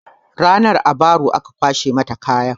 Ranan a baro aka kwashe mata kaya